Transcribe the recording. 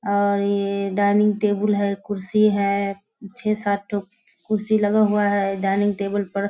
और ये dining table है कुर्सी है छे-सात ठो कुर्शी लगा हुआ है डाइनिंग टेबुल पर।